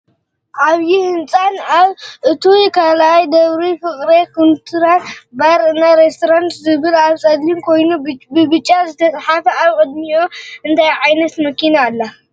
ዓብይ ህንፃን አብ እቱይ ካልኣይ ደብሪ ፍቅሬ ኩንሲፓኛ ባር እና ሬስትራንትን ዝብል ኣብ ፀሊም ኮይኑ ብብጫ ዝተፃሓፈ ኣብ ቅድሚኡ እንታይ ዓይነት መኪና ኣላ?